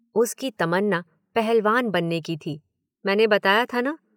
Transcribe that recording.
उसकी तमन्ना पहलवान बनने की थी, मैंने बताया था न।